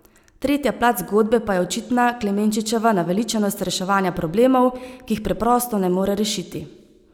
Tretja plat zgodbe pa je očitna Klemenčičeva naveličanost reševanja problemov, ki jih preprosto ne more rešiti.